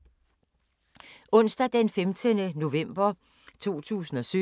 Onsdag d. 15. november 2017